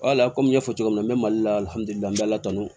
Wala komi n y'a fɔ cogo min na mali la ala kanu